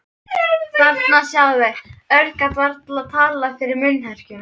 Þarna, sjáðu. Örn gat varla talað fyrir munnherkjum.